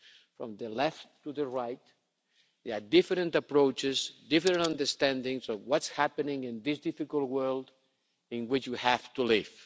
From the left to the right, there are different approaches and different understandings of what's happening in this difficult world in which we have to live.